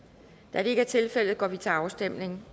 da det ikke er tilfældet går vi til afstemning